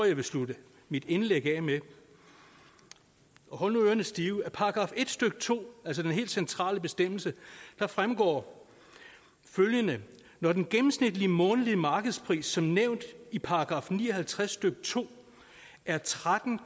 jeg vil slutte mit indlæg med og hold nu ørerne stive af § en stykke to altså den helt centrale bestemmelse fremgår følgende når den gennemsnitlige månedlige markedspris som nævnt i § ni og halvtreds stykke to er tretten